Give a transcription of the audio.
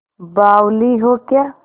बावली हो क्या